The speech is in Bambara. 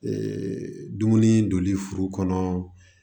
dumuni donli furu kɔnɔ